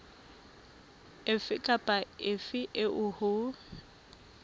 efe kapa efe eo ho